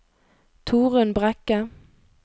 Torunn Brekke